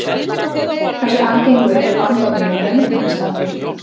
Hversu algengur er bandormur í mönnum á Íslandi?